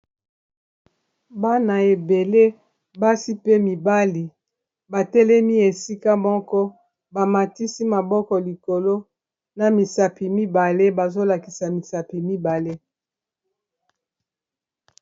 Bana ebele basi pe mibali batelemi esika moko ba matisi maboko likolo na misapi mibale bazolakisa misapi mibale.